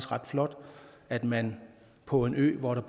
ret flot at man på en ø hvor der